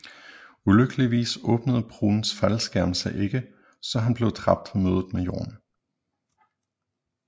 Ulykkeligvis åbnede Bruhns faldskærm sig ikke så han blev dræbt ved mødet med jorden